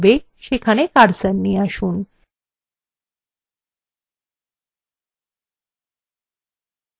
এখন যেখানে শিরোলেখ লিখতে হবে সেখানে cursor নিয়ে আসুন